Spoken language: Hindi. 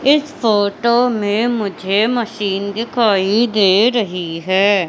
इस फोटो में मुझे मशीन दिखाई दे रही है।